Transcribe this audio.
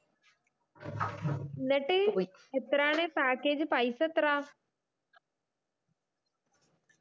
എന്നിട്ട് എത്രയാണ് package പൈസ എത്രയാ